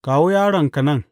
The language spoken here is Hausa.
Kawo yaronka nan.